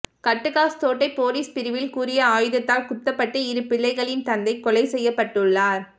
கட்டுகாஸ்தோட்டைப் police பிரிவில் கூறிய ஆயுதத்தால் குத்தப்பட்டு இரு பிள்ளைகளின் தந்தை கொலை செய்யப்பட்டுள்ளார்